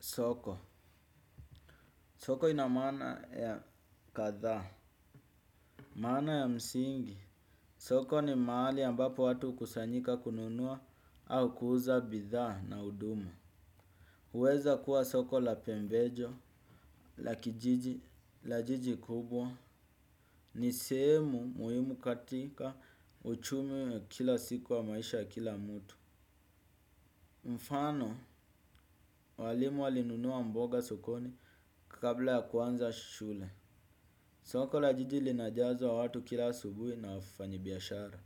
Soko, soko ina maana ya kadhaa. Maana ya msingi soko ni mahali ambapo watu hukusanyika kununua au kuuza bidhaa na huduma. Huweza kuwa soko la pembejo, la kijiji, la jiji kubwa. Ni sehemu muhimu katika uchumi ya kila siku wa maisha kila mtu. Mfano, walimu walinunua mboga sokoni kabla ya kuanza shule. Soko la jiji linajazo wa watu kila subuhi na wafanyi biyashara.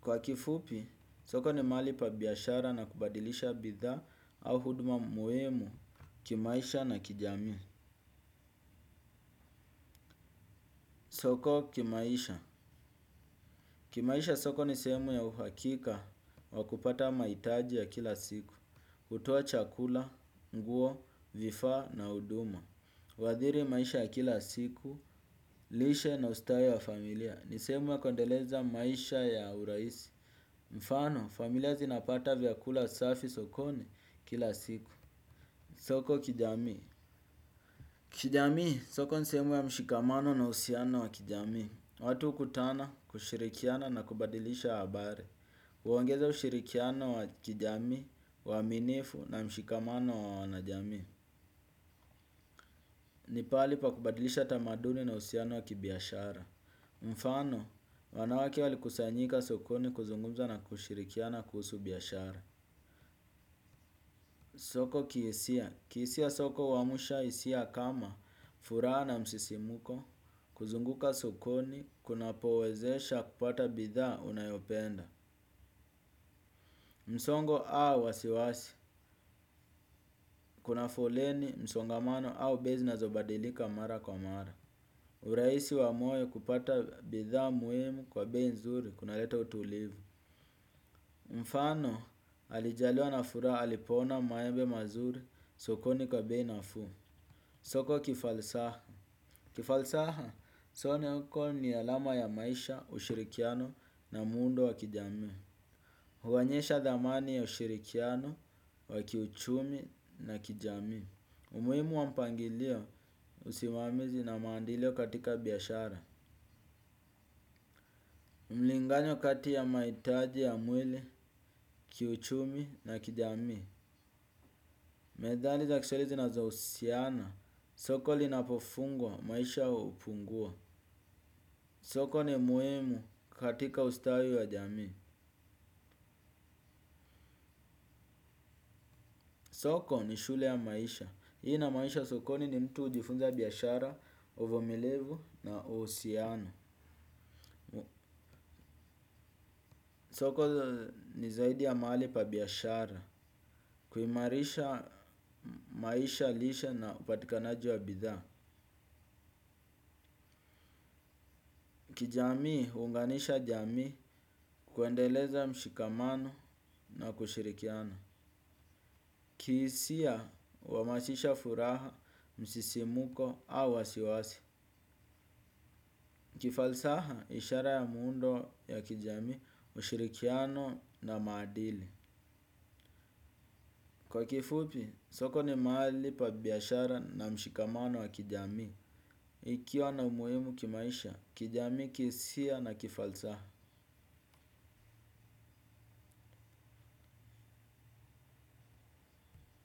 Kwa kifupi, soko ni mahali pa biashara na kubadilisha bidhaa au huduma muhimu kimaisha na kijamii. Soko kimaisha. Kimaisha soko ni sehemu ya uhakika wa kupata mahitaji ya kila siku. Hutuoa chakula, nguo, vifaa na huduma. Huadhiri maisha ya kila siku, lishe na ustawi wa familia. Ni sehemu ya kuendeleza maisha ya urahisi. Mfano, familia zinapata vyakula safi sokoni kila siku. Soko kijamii. Kijamii, soko ni sehemu ya mshikamano na uhusiano wa kijamii. Watu hukutana kushirikiana na kubadilisha habari huongeza ushirikiano wa kijamii, uaminifu na mshikamano wa wanajamii. Nipahali pa kubadilisha tamaduni na uhusiano wa kibiashara. Mifano, wanawake walikusanyika sokoni kuzungumza na kushirikiana kuhusu biashara. Soko kihisia, kihisia soko huamsha hisia kama furaha na msisimuko, kuzunguka sokoni, kunapowezesha kupata bidhaa unayopenda. Msongo au wasiwasi, kuna foleni msongamano au bei zinazobadilika mara kwa mara. Uraisi wa moyo kupata bidhaa muhimu kwa bei nzuri kunaleta utulivu. Mfano, alijaliwa na furaha alipoona maembe mazuri, sokoni kwa bei nafuu. Soko kifalsaha. Kifalsaha, soko ni alama ya maisha, ushirikiano na muundo wa kijamii. Huonyesha dhamani ya ushirikiano, wa kiuchumi na kijamii. Umuhimu wa mpangilio usimamizi na maadili katika biashara. Mlingano kati ya mahitaji ya mwili, kiuchumi na kijamii. Methali za kiswahili zinazo husiana. Soko linapofungwa maisha hupungua. Soko ni muhimu katika ustawi wa jamii. Soko ni shule ya maisha. Hii inamanisha sokoni ni mtu hujifunza biashara, uvumilivu na uhusiano. Soko ni zaidi ya mahali pa biashara. Kuimarisha maisha, lishe na upatikanaji wa bidhaa. Kijamii, huunganisha jamii kuendeleza mshikamano na kushirikiana. Kihisia, huhamasisha furaha, msisimuko au wasiwasi. Kifalsaha ishara ya muundo ya kijamii ushirikiano na maadili. Kwa kifupi, soko ni mahali pa biashara na mshikamano wa kijamii. Ikiwa na umuhimu kimaisha, kijamii kihisia na kifalsaha.